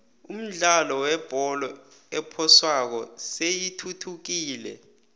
umdlalo webholo ephoswako seyithuthukile